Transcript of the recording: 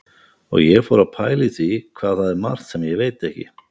Og ég fór að pæla í því hvað það er margt sem ég veit ekki.